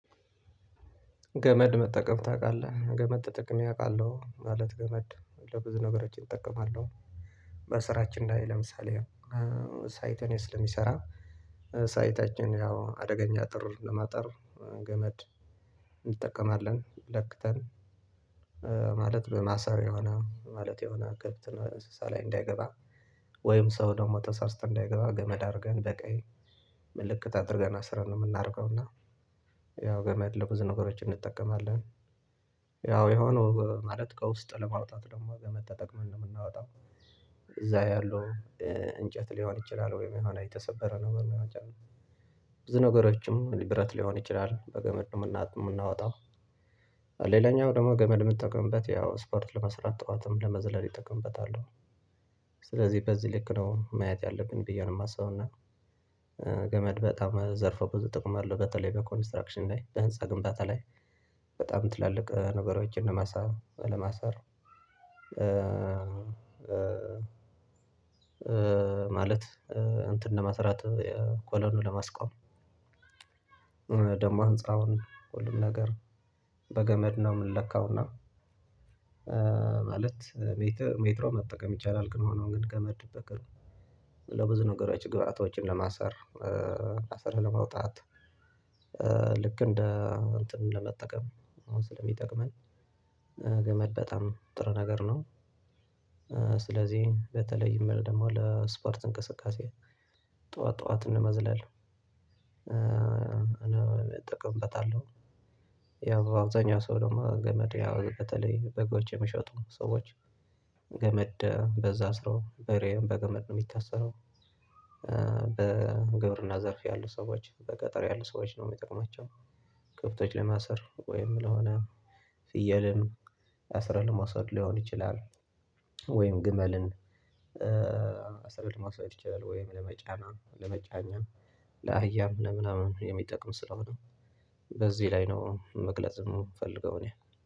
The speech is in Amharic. ገመድ መጠቀም ታውቃለህ ገመድ ተጠቅሜ አውቃለሁ ማለት ገመድ ለብዙ ነገሮች እጠቀማለሁ። በስራችን ላይ ለምሳሌ ሳይት ላይ ስለምሰራ ሳይታችን ያው አደገኛ አጥር ለማጠር ገመድ እንጠቀማለን ለክተን ማለት በማሰር የሆነ ማለት የሆነ ከብት እና እንስሳ ላይ እንዳይገባ ወይም ሰው ደግሞ ተሳስቶ እንዳይገባ ገመድ አድርገን በቀይ ምልክት አድርገን አስረን ነው የምናደርገው። እና ያው ገመድ ለብዙ ነገሮች እንጠቀማለን። ያው የሆነ ማለት ከውስጥ ለማውጣት ደግሞ ወገመድ ተጠቅመን ነው የምናወጣው። እዛ ያለው እንጨት ሊሆን ይችላል ወይም የሆነ የተሰበረ ነገር ሊሆን ይችላል። ብዙ ነገሮችን ሊብረት ሊሆን ይችላል በገመድ ነው የምናወጣው። ሌላኛው ደግሞ ገመድ የምትጠቀምበት ያው ስፖርት ለመስራት ጠዋትም ለመዝለል ይጠቀምበታለሁ። ስለዚህ በዚህ ልክ ነው ማየት ያለብን ብዬ ነው የማስበው። እና ገመድ በጣም ዘርፎ ብዙ ጥቅም አለው። በተለይ በኮንስትራክሽን ላይ በህንፃ ግንባታ ላይ በጣም ትላልቅ ነገሮችን ለማሳብ ለማሳር ማለት እንትን ለማስራት ኮሎኑን ለማስቆም። ደግሞ አንጻሩን ሁሉም ነገር በገመድ ነው የምንለካውና ማለት ሜትሮ መጠቀም ይቻላል ከሆነ ግን ከመድ ብቅ ለብዙ ነገሮች ግብአቶችን ለማሰር ለመውጣት ልክ እንደ እንትን ለመጠቀም አሁን ስለሚጠቅመን ገመድ በጣም ጥሩ ነገር ነው። ስለዚህ በተለይ ደግሞ ለስፖርት እንቅስቃሴ ጠዋት ጠዋት ለመዝላል እጠቀምበታለሁ። ያው አብዛኛው ሰው ደግሞ ገመድ ያው በተለይ በጎች የመሸጡ ሰዎች ገመድ በዛ አስሮ በሬም በገመድ ነው የሚታሰረው። በግብርና ዘርፍ ያሉ ሰዎች በገጠር ያሉ ሰዎች ነው የሚጠቅማቸው። ክብቶች ለማሰር ወይም ለሆነ ፍየልን አስረል ለማሰር ሊሆን ይችላል። ወይም ግመልን ማስበድ ማስበድ ይችላል ወይም ለመጫና ለመጫኛ ለአህያም ለምናምን የሚጠቅም ስለሆነ። በዚህ ላይ ነው መግለጽ የምፈልገው እኔ